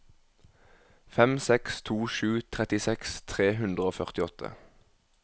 fem seks to sju trettiseks tre hundre og førtiåtte